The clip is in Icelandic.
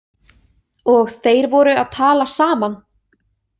Og þeir voru að tala saman?